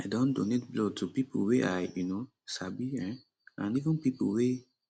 i don donate blood to pipo wey i um sabi um and even pipo wey